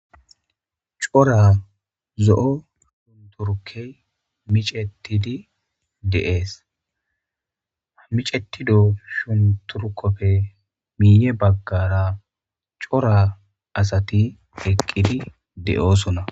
Cora zo'o shunkurtey micetidi de'ees. Micetida shunkurtoppe miiye baggara cora asati eqqidi de'oosona.